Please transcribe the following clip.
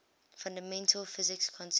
fundamental physics concepts